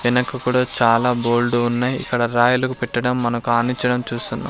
ఎనక కూడా చాలా గోల్డు ఉన్నాయ్ ఇక్కడ రాయలకు పెట్టడం మనకానిచ్చడం చూస్తున్నాం.